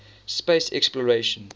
space exploration